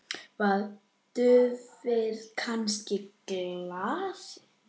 Var duftið kannski gallað?